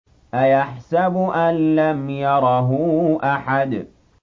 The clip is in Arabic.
أَيَحْسَبُ أَن لَّمْ يَرَهُ أَحَدٌ